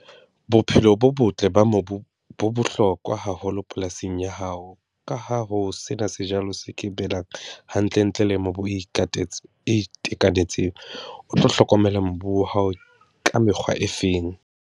Bophelo bo botle ba mobu bo bohlokwa haholo polasing ya hao, ka ha ho se na sejalo se ke hantle ntle le mobu o o itekanetseng, o tlo hlokomela mobu wa hao ka mekgwa e feng?